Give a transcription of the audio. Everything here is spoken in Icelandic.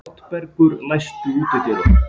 Oddbergur, læstu útidyrunum.